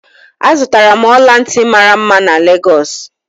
Azụtara m ọla ntị mara mma na Lagosu.